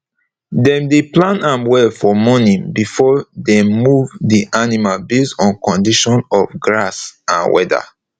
dem dey plan am well for morning before dem move d animal base on condition of grass and weather